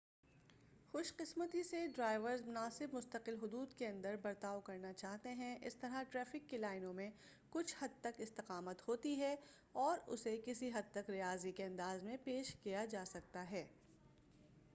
خوش قسمتی سے ڈرائیورز مناسب مستقل حدود کے اندر برتاؤ کرنا چاہتے ہیں اس طرح ٹریفک کی لائنوں میں کچھ حد تک استقامت ہوتی ہے اور اسے کسی حد تک ریاضی کے انداز میں پیش کیا جا سکتا ہے